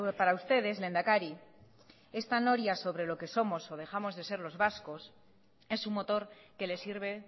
para ustedes lehendakari esta noria sobre lo que somos o dejamos de ser los vascos es un motor que les sirve